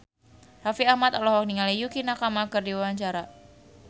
Raffi Ahmad olohok ningali Yukie Nakama keur diwawancara